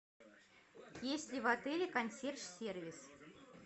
есть ли в отеле консьерж сервис